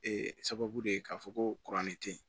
Ee sababu de ye k'a fɔ ko tɛ yen